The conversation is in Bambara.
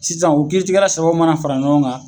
Sisan u kiiri tigɛla sabaw mana fara ɲɔgɔn kan